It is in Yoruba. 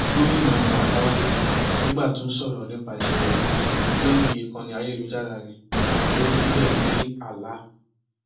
gomina matawalle nígbà tó ń sọrọ nípa ìṣẹlẹ yìí lórí ìkànnì ayélujára rẹ kó o síbẹ pé allah